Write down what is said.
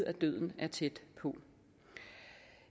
at døden er tæt på